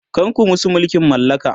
kar ku musu mulkin mallaka!